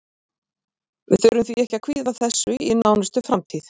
Við þurfum því ekki að kvíða þessu í nánustu framtíð.